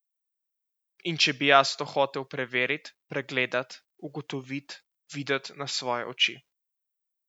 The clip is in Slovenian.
In če bi jaz to hotel preverit, pregledat, ugotovit, videt na svoje oči?